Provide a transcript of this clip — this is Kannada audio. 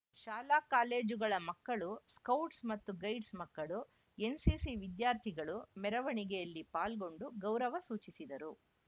ಶಾಲಾ ಕಾಲೇಜುಗಳ ಮಕ್ಕಳು ಸ್ಕೌಟ್ಸ್ ಮತ್ತು ಗೈಡ್ಸ್ ಮಕ್ಕಳು ಏನ್ ಸಿ ಸಿ ವಿಧ್ಯಾ ರ್ಥಿಗಳು ಮೆರವಣಿಗೆಯಲ್ಲಿ ಪಾಲ್ಗೊಂಡು ಗೌರವ ಸೂಚಿಸಿದ್ದರು